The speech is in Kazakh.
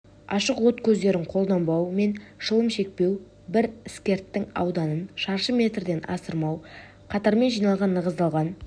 ашық от көздерін қолданбау мен шылым шекпеу бір іскірттің ауданын шаршы метрден асырмау қатармен жиналған нығыздалған